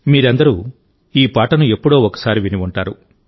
మీరందరూ ఈ పాటను ఎప్పుడో ఒకసారి విని ఉంటారు